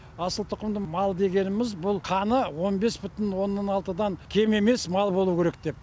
асыл тұқымды мал дегеніміз бұл қаны он бес бүтін оннан алтыдан кем емес мал болу керек деп